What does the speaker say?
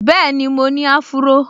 Bẹ́ẹ̀ni, mo ní áfúró